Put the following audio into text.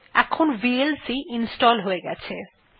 এখন VLC install হয়ে গেছে